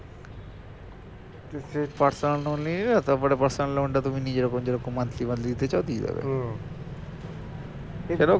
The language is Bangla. personal loan নিয়ে নিলে তারপরে personal loan টা তুমি নিজের যেরকম monthly monthly দিতে চাও দিয়ে দেবে সেটাও করতে পারো